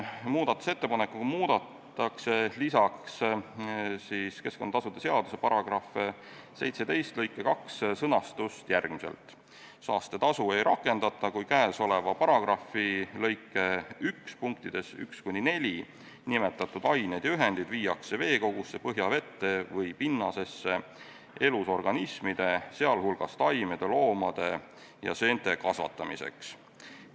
Muudatusettepanekuga muudetakse lisaks keskkonnatasude seaduse § 17 lõike 2 sõnastust järgmiselt: "Saastetasu ei rakendata, kui käesoleva paragrahvi lõike 1 punktides 1–4 nimetatud aineid ja ühendeid viiakse veekogusse, põhjavette või pinnasesse elusorganismide, sealhulgas taimede, loomade ja seente kasvatamiseks.